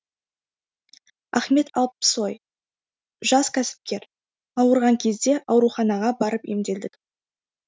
ахмет алпсой жас кәсіпкер ауырған кезде ауруханаға барып емделдік